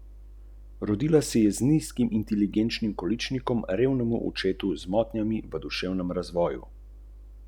Gori, izgoreva v navalih idej in izpeljav, regresij, vizij, želja, pomiritev ...